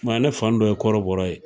Mɛ ne fan dɔ ye kɔrɔbɔrɔ ye